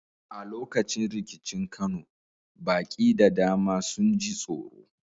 A lokacin rikicin Kano, baƙi da dama sun ji tsoro.